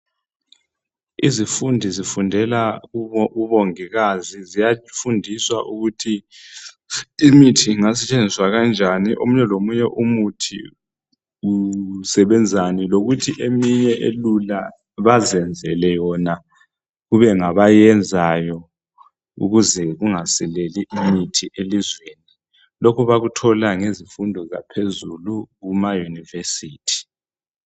Izifundi zifundela ubongikazi ziyafundiswa ukuthi imithi ingasetshenziswa kanjani omunye lomunye umuthi usebenzani lokuthi eminye ilula baziyenzela yona kube ngabe yenzayo ukuze kungasileli imithi elizweni lokhu bakuthola ngezifundo zaphezulu kumayunivesithi.